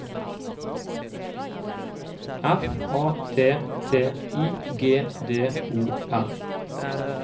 F A T T I G D O M